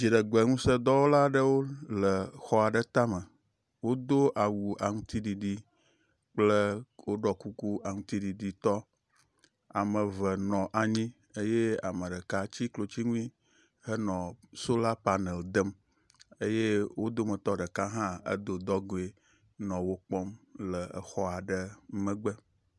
dziɖegbe ŋusē dɔwɔlaɖewo le xɔ aɖe táme wodó awu aŋtsiɖiɖi kple wóɖɔ kuku aŋutsiɖiɖi tɔ ame eve nɔ anyi eye ameɖeka tsi klotsiŋui henɔ sola panel dem eye wó dometɔ ɖeka hã edó dɔgoē nɔ wo kpɔm le xɔ ɖe megbe